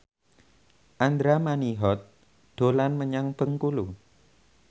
Andra Manihot dolan menyang Bengkulu